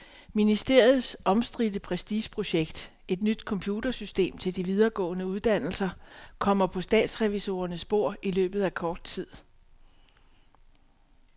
Ministeriets omstridte prestigeprojekt, et nyt computersystem til de videregående uddannelser, kommer på statsrevisorernes bord i løbet af kort tid.